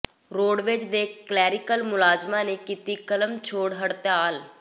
roadways ਦੇ clerical ਮੁਲਾਜ਼ਮਾਂ ਨੇ ਕੀਤੀ ਕਲਮ ਛੋੜ ਹੜਤਾਲ